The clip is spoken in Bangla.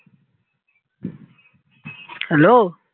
hello